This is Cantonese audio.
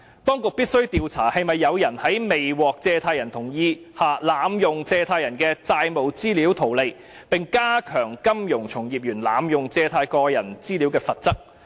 當局必須調查是否有人在未獲借貸人同意下，濫用借貸人的債務資料圖利，並加重金融從業員濫用借貸人的個人資料的罰則。